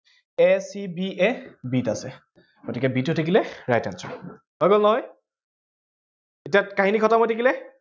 a c b a b ত আছে, গতিকে b টো হৈ থাকিলে right answer । হৈ গল নহয়? এতিয়া কাহিনী খতম হৈ থাকিলে